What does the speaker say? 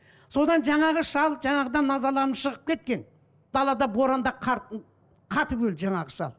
содан жаңағы шал жаңағыдан назаланып шығып кеткен далада боранда қар қатып өлді жаңағы шал